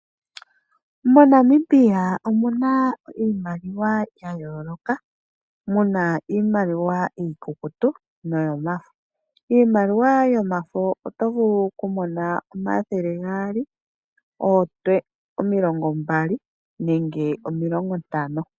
MoNamibia omu na iimaliwa ya yooloka mu na iimaliwa iikukutu noyo mafo, iimaliwa yomafo oto vulu okumona omathele gaali, omilongo mbali nenge omilongo ntano.